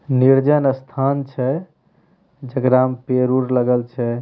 नीरजन स्थान छै जेकरा में पेड़-उड़ लगल छै।